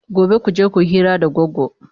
Gobe kuje kuyi hira da Goggo!